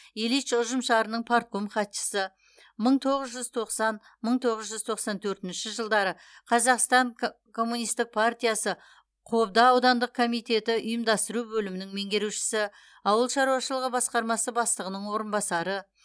ильич ұжымшарының партком хатшысы мың тоғыз жүз тоқсан мың тоғыз жүз тоқсан төртінші жылдары қазақстан коммунистік партиясы қобда аудандық комитеті ұйымдастыру бөлімінің меңгерушісі ауыл шаруашылығы басқармасы бастығының орынбасары